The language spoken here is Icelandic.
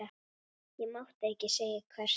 Ég mátti ekki segja hvert.